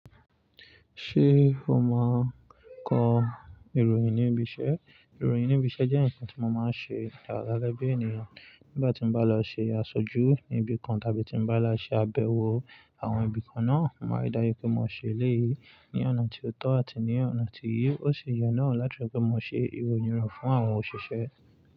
Ṣé o máa kọ ìròyìn níbi iṣẹ́? Ìròyìn níbi iṣẹ́ jẹ́ ǹkan tí mo máa ń ṣe dáadáa lẹ́bí ènìyàn. Nígbà tí mo bá lọ ṣe àṣojú níbi kan tàbí tí mo bá lọ ṣe àbẹ̀wò àwọn ibi kan náà, mo máa dá yè pé mo ṣe eléyìí ní ọ̀nà tí ó tọ́ àti ní ọ̀nà tí yíò ṣe ìyè náà láti ọ̀rẹ́ pé mo ṣe ìròyìn rẹ̀ fún àwọn òṣìṣẹ́.